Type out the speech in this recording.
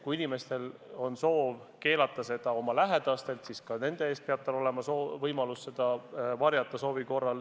Kui inimesel on soov keelata selle avaldamine oma lähedastele, siis peab tal soovi korral ka nende eest olema võimalik seda infot varjata.